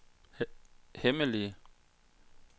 hemmelige